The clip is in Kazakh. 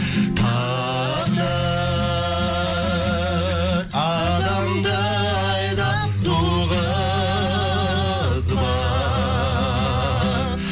тағдыр адамды айдап туғызбақ